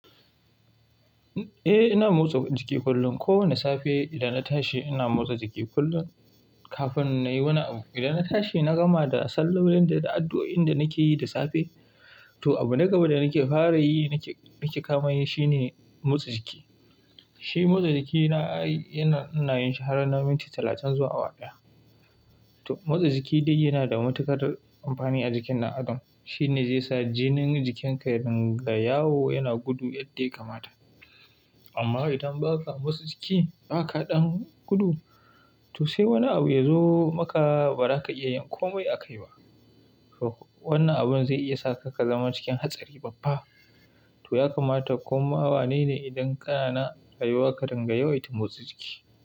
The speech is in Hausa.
Eh, ina motsa jiki kullum. Kowane safe idan na tashi ina motsa jiki kullum kafin na yi wani abu. Idan na tashi na gama da sallolin da da addu'o'in da nake yi da safe, to abin na gaba da nake fara yi nake, nake kamani shine motsa jiki. Shi motsa jiki na ai, ina, ina yin shi har na minti talatin zuwa awa ɗaya. To motsa jiki dai yana da matuƙar amfani a jikin na adam. Shi ne zai sa jinin jikinka ya ringa yawo, yana gudu yadda ya kamata. Amma idan ba ka motsa jiki, ba ka ɗan gudu, to sai wani abu ya zo maka ba za ka iya yin komai akai ba. To wannan abun zai iya sa ka, ka zama cikin hatsari babba. To ya kamata koma wane ne idan kana na ayuwa ka ringa yawaita motsa jiki.